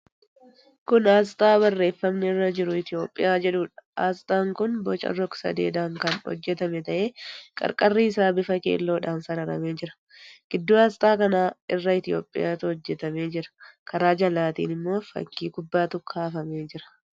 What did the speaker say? Kun aasxaa barreeffamni irra jiru 'ETHIOPIA' jedhuudha. Aasxaan kun boca rog-sadeedhaan kan hojjetame ta'ee, qarqarri isaa bifa keelloodhaan sararamee jira. Gidduu aasxaa kanaa irra Itiyoophiyaatu hojjetamee jira. Karaa jalaatiin immoo fakkii kubbaatu kaafamee jira.